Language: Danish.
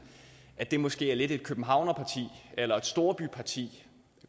at det måske er lidt et københavnerparti eller et storbyparti